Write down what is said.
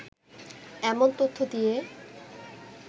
এমন তথ্য দিয়ে